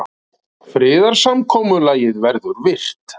Friðarsamkomulagið verður virt